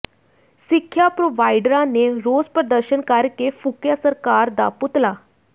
ਸਿੱਖਿਆ ਪ੍ਰੋਵਾਈਡਰਾਂ ਨੇ ਰੋਸ ਪ੍ਰਦਰਸ਼ਨ ਕਰਕੇ ਫੂਕਿਆ ਸਰਕਾਰ ਦਾ ਪੁਤਲਾ